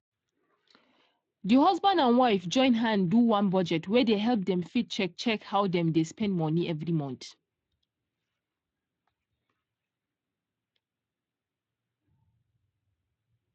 di husband and wife join hand do one budget wey dey help dem fit check check how dem dey spend money every month.